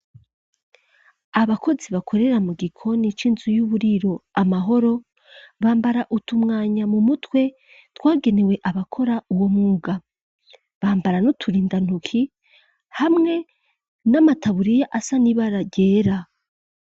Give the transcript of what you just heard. Abakozi, bakorera mu gikoni, c'inzu y'uburiro, Amahoro; bambara utumwanya, mu mutwe, twagenewe, abakora uwo mwuga; bambara n'uturindantuki, hamwe n'amataburiya, asa n'ibara ryera.